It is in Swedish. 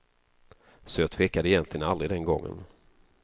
Så jag tvekade egentligen aldrig den gången.